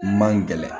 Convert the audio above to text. Man gɛlɛn